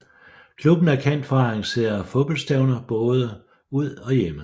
Klubben er kendt for at arrangere fodboldstævner både ud og hjemme